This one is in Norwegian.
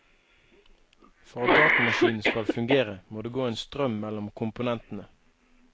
For at datamaskinen skal fungere må det gå en strøm mellom komponentene.